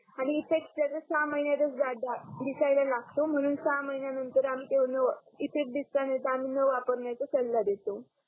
आणि इफेक्ट त्याच्या सहा महिन्यातच दिसायला लागतो म्हणून महिन्या नंतर आम्ही त्यान इफेक्ट दिसला आहे तर आम्ही नवापरण्याचा सल्ला देतो